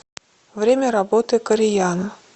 время работы кореяна